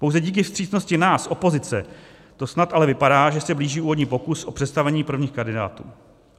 Pouze díky vstřícnosti nás, opozice, to snad ale vypadá, že se blíží úvodní pokus o představení prvních kandidátů.